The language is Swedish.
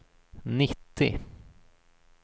nittio